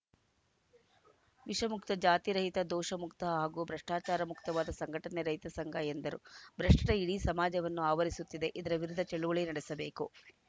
ವಿಷಮುಕ್ತ ಜಾತಿರಹಿತ ದೋಷ ಮುಕ್ತ ಹಾಗೂ ಭ್ರಷ್ಟಚಾರ ಮುಕ್ತವಾದ ಸಂಘಟನೆ ರೈತಸಂಘ ಎಂದರು ಭ್ರಷ್ಟತೆ ಇಡೀ ಸಮಾಜವನ್ನು ಆವರಿಸುತ್ತಿದೆ ಇದರ ವಿರುದ್ಧ ಚಳವಳಿ ನಡೆಸಬೇಕು